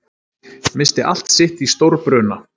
Missti allt sitt í stórbruna